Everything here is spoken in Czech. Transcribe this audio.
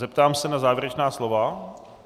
Zeptám se na závěrečná slova.